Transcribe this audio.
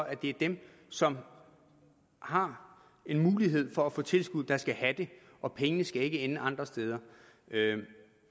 at det er dem som har en mulighed for at få tilskud der skal have det og pengene skal ikke ende andre steder